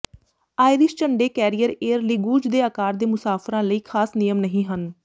Irish ਝੰਡੇ carrier Aer Lingus ਦੇ ਆਕਾਰ ਦੇ ਮੁਸਾਫਰਾਂ ਲਈ ਖਾਸ ਨਿਯਮ ਨਹੀਂ ਹਨ